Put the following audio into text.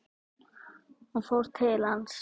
Hún fór til hans.